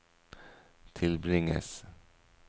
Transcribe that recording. tilbringes